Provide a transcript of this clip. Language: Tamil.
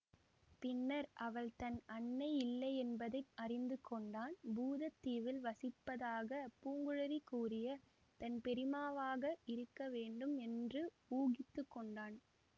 பின்னர் அவள் தன் அன்னை இல்லையென்பதை அறிந்து கொண்டான் பூதத் தீவில் வசிப்பதாகப் பூங்குழலி கூறிய தன் பெரியம்மாவாக இருக்க வேண்டும் என்று ஊகித்து கொண்டான்